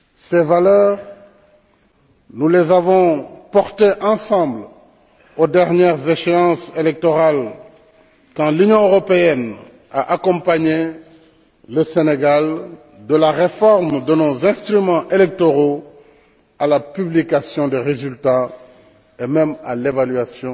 Ces valeurs, nous les avons portées ensemble aux dernières échéances électorales, quand l'Union européenne a accompagné le Sénégal, de la réforme de nos instruments électoraux à la publication des résultats, et même à l'évaluation